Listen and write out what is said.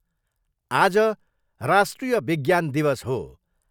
आज राष्ट्रिय विज्ञान दिवस हो।